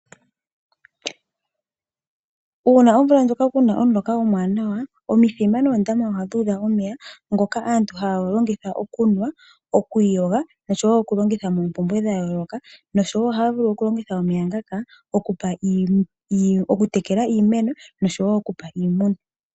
Uuna omvula ndjoka kuna omuloka omawanawa omithima noondama ohadhi udha omeya ngoka aantu haya longitha okunwa, okwiiyoga nosho woo okugalongitha mompumbwe dhayooloka nosho woo ohaya vulu okulongitha omeya ngaka okutekela iimeno nosho woo okupa iimeno.